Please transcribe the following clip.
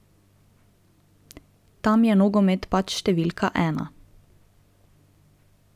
Tam je nogomet pač številka ena.